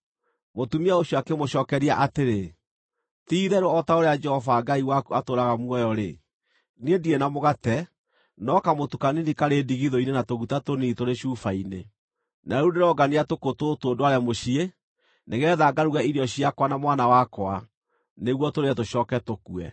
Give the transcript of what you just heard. Mũtumia ũcio akĩmũcookeria atĩrĩ, “Ti-itherũ o ta ũrĩa Jehova Ngai waku atũũraga muoyo-rĩ, niĩ ndirĩ na mũgate no kamũtu kanini karĩ ndigithũ-inĩ na tũguta tũnini tũrĩ cuba-inĩ. Na rĩu ndĩrongania tũkũ tũtũ ndware mũciĩ, nĩgeetha ngaruge irio ciakwa na mwana wakwa, nĩguo tũrĩe tũcooke tũkue.”